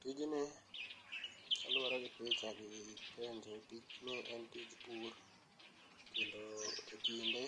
Tijni kaluore gi picha gi penjo, tijni en tich pur kendo ekinde